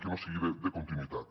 que no sigui de continuïtat